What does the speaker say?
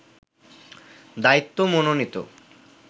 দায়িত্ব মনোনীত